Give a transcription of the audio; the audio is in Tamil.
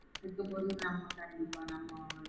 கூப்டும்போது நமக்காண்டி பண்ணனும்.